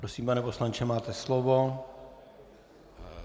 Prosím, pane poslanče, máte slovo.